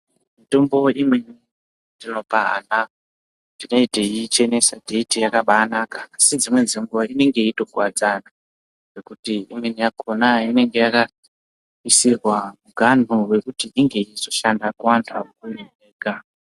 Mitombo imweni yatinopa ana tine teiichenesa teiti yakabanaka. Asi nedzimweni dzenguva inenge yeitokuvadza ana. Ngekuti imweni yakona inenge yakaisirwa muganhu vekuti izoshanda kuvantu akuru ega.